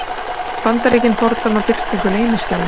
Bandaríkin fordæma birtingu leyniskjala